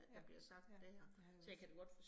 Ja, ja, det er det også